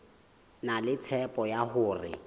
na le tshepo ya hore